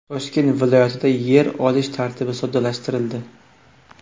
Toshkent viloyatida yer olish tartibi soddalashtirildi.